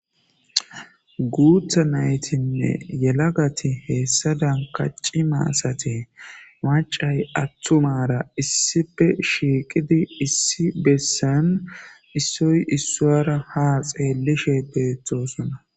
guutha naytinne yelagati heessa dankaci maasate macay attu mara issipe shiiqidi issi bessan issoy issoara ha xeellishe deeththosuna